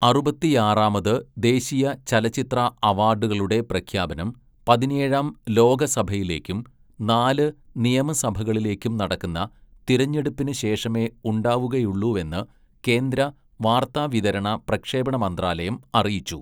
അറുപത്തിയാറാമത് ദേശീയ ചലച്ചിത്ര അവാഡുകളുടെ പ്രഖ്യാപനം പതിനേഴാം ലോകസഭയിലേയ്ക്കും, നാല് നിയമസഭകളിലേയ്ക്കും നടക്കുന്ന തിരഞ്ഞെടുപ്പിന് ശേഷമേ ഉണ്ടാവുകയുള്ളൂവെന്ന് കേന്ദ്ര വാർത്താവിതരണ പ്രക്ഷേപണ മന്ത്രാലയം അറിയിച്ചു.